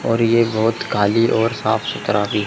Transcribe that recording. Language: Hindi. और ये बहुत काली और साफ सुथरा--